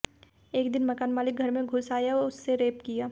एक दिन मकान मालिक घर में घुस आया उससे रेप किया